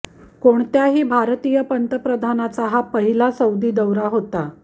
कोणत्याही भारतीय पंतप्रधानाचा हा पहिला सौदी दौरा होता